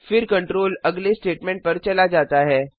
फिर कंट्रोल अगले स्टेटमेंट पर चला जाता है